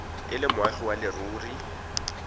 e le moagi wa leruri